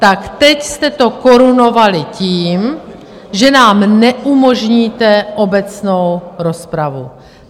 Tak teď jste to korunovali tím, že nám neumožníte obecnou rozpravu.